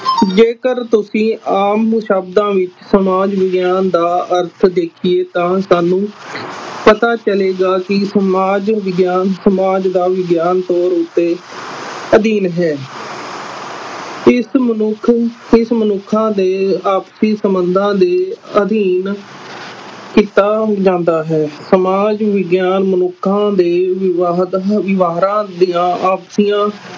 ਇਸ ਮਨੁੱਖਾਂ ਦੇ ਆਪਸੀ ਸੰਬੰਧਾ ਦੇ ਅਧੀਨ ਕੀਤਾ ਜਾਂਦਾ ਹੈ ਸਮਾਜ ਵਿਗਿਆਨ ਮੁਨੱਖਾ ਦੇ ਵਿਵਹਾਰਾਂ ਦੀਆ ਆਪਸੀਆਂ